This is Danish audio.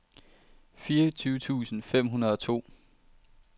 fireogtyve tusind fem hundrede og to